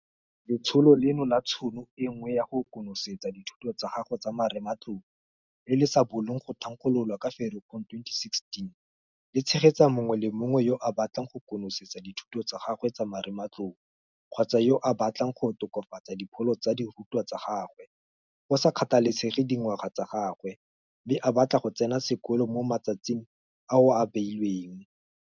Letsholo leno la Tšhono e Nngwe ya go konosetsa dithuto tsa gago tsa marematlou, le le sa bolong go thankgololwa ka Ferikgong 2016 le tshegetsa mongwe le mongwe yo a batlang go konosetsa dithuto tsa gagwe tsa marematlou kgotsa yo a batlang go tokafatsa dipholo tsa dirutwa tsa gagwe, go sa kgathalesege dingwaga tsa gagwe, mme a batla go tsena sekolo mo matsatsing ao a beilweng.